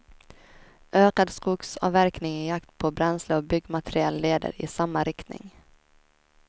Ökad skogsavverkning i jakt på bränsle och byggmateriel leder i samma riktning.